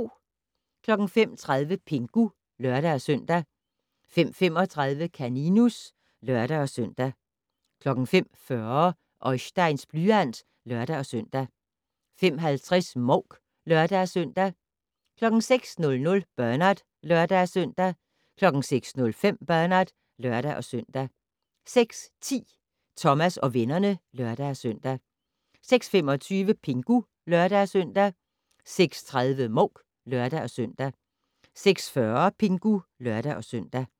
05:30: Pingu (lør-søn) 05:35: Kaninus (lør-søn) 05:40: Oisteins blyant (lør-søn) 05:50: Mouk (lør-søn) 06:00: Bernard (lør-søn) 06:05: Bernard (lør-søn) 06:10: Thomas og vennerne (lør-søn) 06:25: Pingu (lør-søn) 06:30: Mouk (lør-søn) 06:40: Pingu (lør-søn)